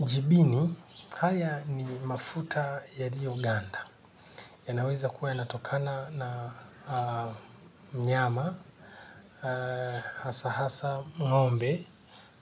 Jibini haya ni mafuta ya liyoganda ya naweza kuwa ya natokana na nyama hasa hasa ng'ombe